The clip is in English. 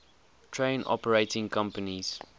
train operating companies